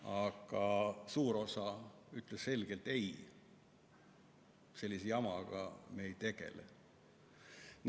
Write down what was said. Aga suur osa ütles selgelt: "Ei, sellise jamaga me ei tegele.